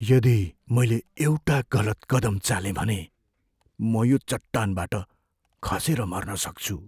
यदि मैले एउटा गलत कदम चालेँ भने, म यो चट्टानबाट खसेर मर्न सक्छु।